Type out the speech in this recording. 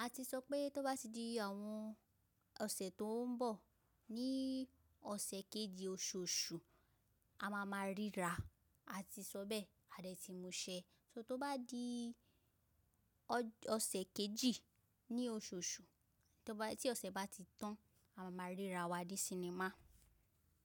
A ti sọ pé tó bá di àwọn ọ̀sẹ̀ tó ń bọ̀, ní ọ̀sẹ̀ kejì oṣù Oṣù, a máa ma ríra. A ti sọ bẹ́ẹ̀, a dẹ̀ ti múṣẹ. So tó bá di ọ̀ṣẹ̀ kejì ní oṣù Oṣù, tí ọ̀ṣẹ̀ bá ti tán, a máa ma ríra wa dé sinimá.